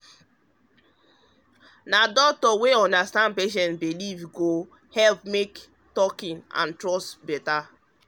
na doctor um wey understand patient belief um go help make talking and um trust better.